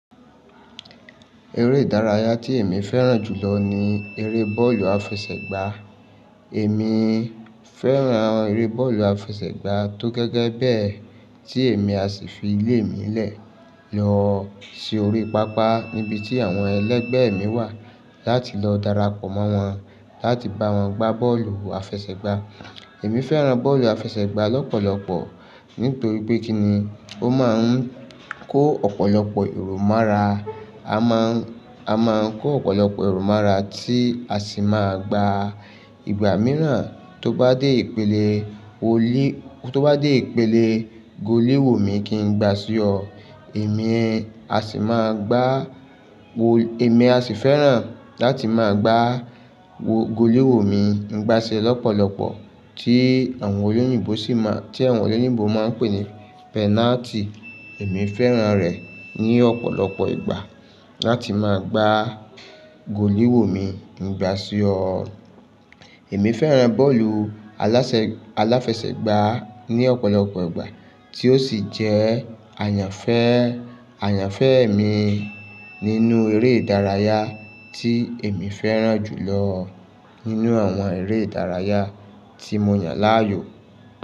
Eré ìdárayá tí èmi fẹ́ràn jù lọ ni eré bọ́ọ̀lù àfẹsẹ̀gbá e. Èmi ii fẹ́ràn eré bọ́ọ̀lù àfẹsẹ̀gbá tó je gẹ́gẹ́ bẹ́ẹ̀ tí èmi a sì fi ilé mi lẹ̀ lọ sí orí pápá níbi tí àwọn ẹlẹegbẹ́ mi wà láti lọ darapọ̀ mọ́ wọn láti bá wọn gbá bọ́ọ̀lù àfẹsẹ̀gbá. Èmi fẹ́ràn bọ́ọ̀lù àfẹsẹ̀gbá lọ́pọ̀lọpọ̀ nítorí pé kíni ó máa ń kó ọ̀pọ̀lọpọ̀ èrò mọ́ra. A máa ń, a máa ń kó ọ̀pọ̀lọpọ̀ èrò mọ́ra tí a sì máa gbà ìgbà mìíràn tó bá dé ìpele olí, tó bá dé ìpele golee wò mí kí n gbà sí ọ. Èmi a sì máa gbà wò, èmi a sì fẹ́ràn láti máa gbà wò, golee wò mi ń gbà si e lọ́pọ̀lọpọ̀ tí àwọn olóyìnbo sì mọ, tí àwọn olóyìnbo máa ń pè ní penalty. Èmi fẹ́ràn rẹ̀ ní ọ̀pọ̀lọpọ̀ ìgbà láti máa gbà golee wò mi ń gbà sí ọ. Èmi fẹ́ràn bọ́ọ̀lù alásẹ, aláfẹsẹ̀gbá ní ọ̀pọ̀lọpọ̀ ìgbà tí ó sì jẹ́ àyànfé, àyànfé èmi nínú eré ìdárayá tí èmi fẹ́ràn jù lọ o nínú àwọn eré ìdárayá tí mo yàn láàyò.